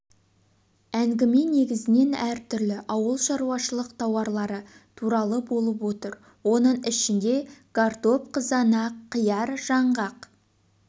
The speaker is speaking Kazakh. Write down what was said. әңгіме негізінен әр түрлі ауыл шаруашылық тауарлары туралы болып отыр оның ішінде картоп қызанақ қияр жаңғақ